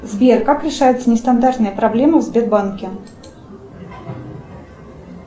сбер как решаются нестандартные проблемы в сбербанке